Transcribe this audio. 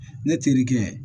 Ne terikɛ